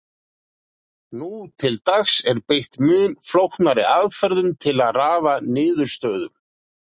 Nú til dags er beitt mun flóknari aðferðum til að raða niðurstöðum.